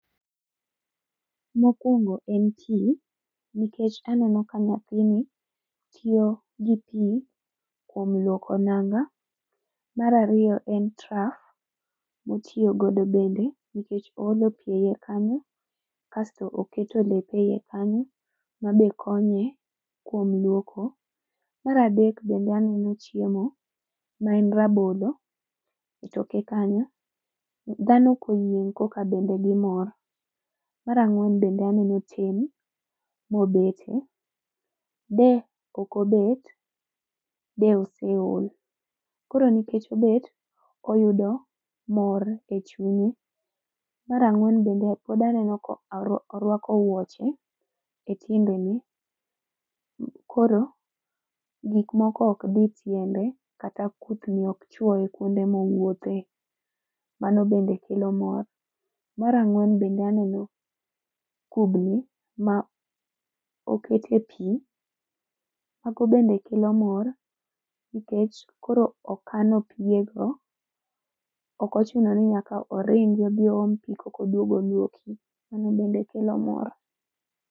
Mokwongo en pii, nikech aneno ka nyathini, tiyo gi pii kuom luoko nanga. Mar ariyo en traf, motiyo godo bende nikech oolo pii eyie kanyo, kasto oketo lepe eyie kanyo mabe konye kuom lwoko. Mar adek bende aneno chiemo, ma en rabolo, e toke kanyo . Dhano koyieng' koka bende gimor. Mar ang'wen bende aneno ten mobete, de ok obet, de oseol. Koro nikech obet, oyudo mor e chunye. Mar ang'wen bende pod aneno ko orwako wuoche, e tiendene, koro gik moko ok dii tiende kata kuthni ok chwoye kwonde mowuothe, mano bende kelo mor. Mar ang'wen bende aneno, kubni ma oketie pii, mago bende kelo mor nikech koro okano piye go, ok ochuno ni nyak oringi odhi oom pii kok oduog olwoki, mano bende kelo mor